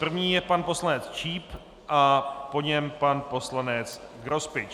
První je pan poslanec Číp a po něm pan poslanec Grospič.